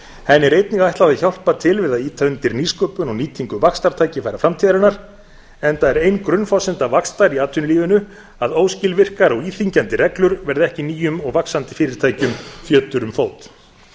henni er einnig ætlað að hjálpa til við að ýta undir nýsköpun og nýtingu vaxtartækifæra framtíðarinnar enda er ein grunnforsenda vaxtar í atvinnulífinu að óskilvirkar og íþyngjandi reglur verði ekki nýjum og vaxandi fyrirtækjum fjötur um fót eitt